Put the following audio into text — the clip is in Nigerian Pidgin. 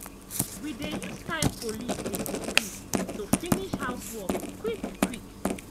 we dey use time police dey compete to finish housework quick-quick.